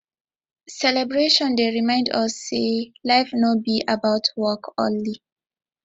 celebration dey remind us sey life no be about work only